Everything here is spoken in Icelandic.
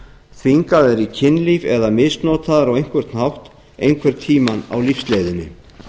þvingaðar í kynlíf eða misnotaðar á einhvern hátt einhvern tíma á lífsleiðinni